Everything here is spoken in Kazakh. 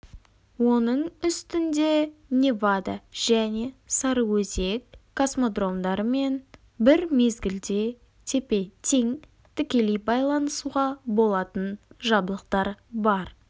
оның үстінде невада және сарыөзек космодромдарымен бір мезгілде тепе-тең тікелей байланысуға болатын жабдықтар бар